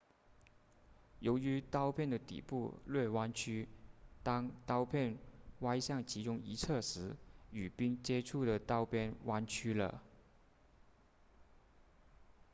由于刀片的底部略弯曲当刀片歪向其中一侧时与冰接触的刀边弯曲了